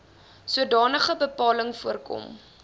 sodanige bepaling voorkom